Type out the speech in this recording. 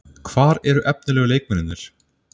Hvar eru efnilegu leikmennirnir?